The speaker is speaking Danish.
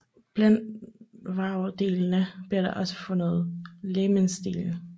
Blandt vragdelene blev også fundet legemsdele